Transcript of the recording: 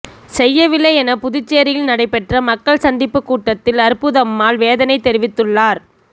செய்யவில்லை என புதுச்சேரியில் நடைபெற்ற மக்கள் சந்திப்பு கூட்டத்தில் அற்புதம்மாள் வேதனை தெரிவித்துள்ளார்